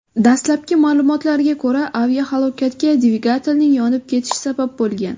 Dastlabki ma’lumotlarga ko‘ra, aviahalokatga dvigatelning yonib ketishi sabab bo‘lgan.